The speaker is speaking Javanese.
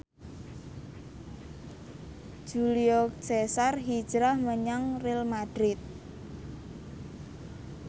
Julio Cesar hijrah menyang Real madrid